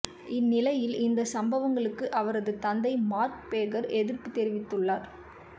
இந்நிலையில் இந்த சம்பவங்களுக்கு அவரது தந்தை மார்க் பேகர் எதிர்ப்பு தெரிவித்துள்ளார்